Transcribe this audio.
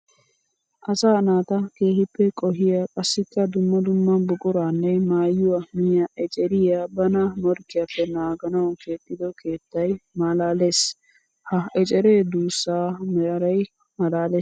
Asaa naata keehippe qohiya qassikka dumma dumma buquranne maayuwa miyya eceriya bana morkkiyappe naaganawu keexxido keettay malalees. Ha ecere duusa maaray malaales.